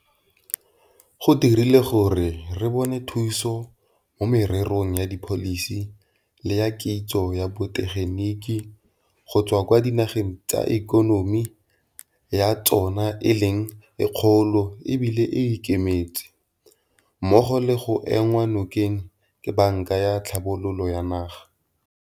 Go dirile gore re bone thuso mo mererong ya dipholisi le ya kitso ya botegeniki go tswa kwa dinageng tse ikonomi ya tsona e leng e kgolo e bile e ikemetse, mmogo le go enngwa nokeng ke Banka ya Tlhabololo ya Naga.